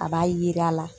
A b'a jira